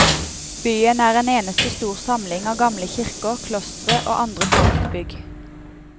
Byen er en eneste stor samling av gamle kirker, klostre og andre praktbygg.